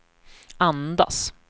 andas